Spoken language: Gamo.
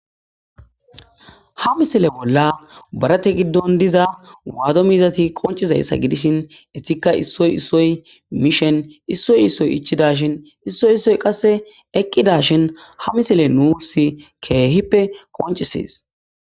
ha misile bolla barate giddon diza waado miizati qoncizayssa gidishin etikka issoy issoy mishen issoy issoy ichida shin issoy issoy qasse eqqida shin ha misile nuus keehippe qoncisees